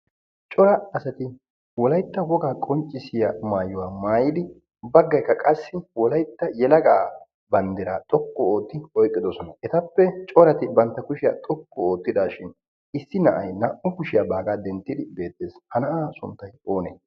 Cora asati wollayta wogaa qonccisiyaa mayuwaa mayidi baggaykka qassi wollaytta yelegaa banddiraa xooqqu otti oyqqidoosona. ettappe corati bantta kushiyaa xooqqu oottidaashin issi na'ay naa"u kushiyaa bagaa dentti beettees. ha na'aa sunttay onee?